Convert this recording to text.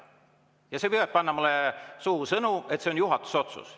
Ja sina püüad panna mulle suhu sõnu, et see on juhatuse otsus.